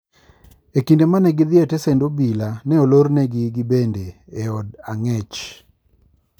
E kinde mane gidhi e tesend obila, ne olornegi gibende e od ang'ech.